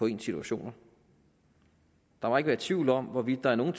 i ens situationer der må ikke være tvivl om hvorvidt der i nogle